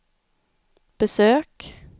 besök